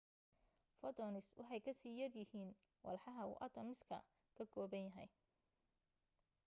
photons waxa ay kasii yaryihiin walxaha uu atoms-ka ka kooban yahay